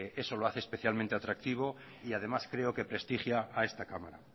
eso lo hace especialmente atractivo y además creo que prestigia a esta cámara